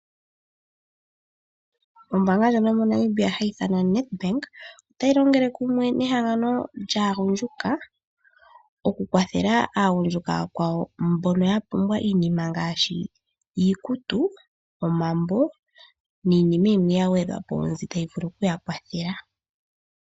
Ombaanga ndjono yomoNamibia hayi ithanwa Nedbank otayi longele kumwe nehangango lyaagundjuka , okukwatheka aagundjuka aakwawo mbono yapumbwa iinima ngaashi iikutu, omambo niinima yimwe yagwedhwapo mbyoka tayi vulu okuyakwathela.